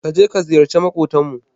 Ka je ka ziyarci maƙotanmu.